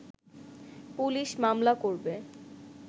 police মামলা করবে